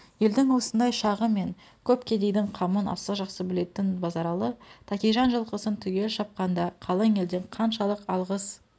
елдің осындай шағы мен көп кедейдің қамын аса жақсы білетін базаралы тәкежан жылқысын түгел шапқанда қалың елден қаншалық алғыс